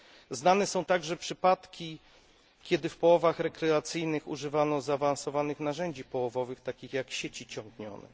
Znane są także przypadki, kiedy w połowach rekreacyjnych używano zaawansowanych narzędzi połowowych, takich jak sieci ciągnione.